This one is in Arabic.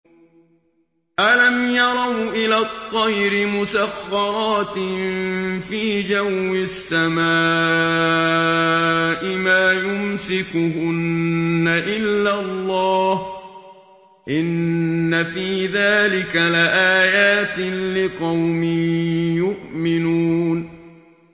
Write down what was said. أَلَمْ يَرَوْا إِلَى الطَّيْرِ مُسَخَّرَاتٍ فِي جَوِّ السَّمَاءِ مَا يُمْسِكُهُنَّ إِلَّا اللَّهُ ۗ إِنَّ فِي ذَٰلِكَ لَآيَاتٍ لِّقَوْمٍ يُؤْمِنُونَ